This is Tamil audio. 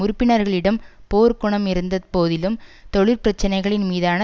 உறுப்பினர்களிடம் போர்க்குணமிருந்த போதிலும் தொழிற் பிரச்சனைகளின் மீதான